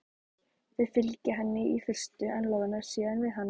Þau fylgja henni í fyrstu en loða síðan við hana.